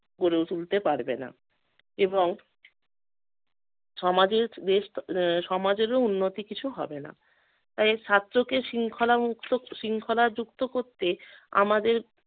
গড়ে ও~ তুলতে পারবে না এবং সমাজের বেশ আহ সমাজেরও কিছু উন্নতি হবে না। তাই ছাত্রকে শৃঙ্খলা মুক্ত শৃঙ্খলা যুক্ত করতে আমাদের